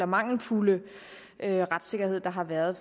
mangelfulde retssikkerhed der har været